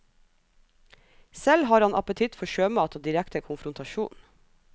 Selv har han appetitt for sjømat og direkte konfrontasjon.